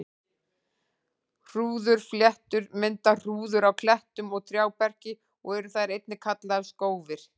Hrúðurfléttur mynda hrúður á klettum og trjáberki og eru þær einnig kallaðar skófir.